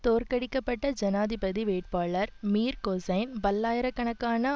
தோற்கடிக்கப்பட்ட ஜனாதிபதி வேட்பாளர் Mir Hossain பல்லாயிர கணக்கான